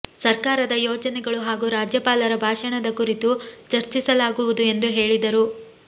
ಸರ್ಕಾರದ ಯೋಜನೆಗಳು ಹಾಗೂ ರಾಜ್ಯಪಾಲರ ಭಾಷಣದ ಕುರಿತು ಚರ್ಚಿಸಲಾಗುವುದು ಎಂದು ಹೇಳಿದರು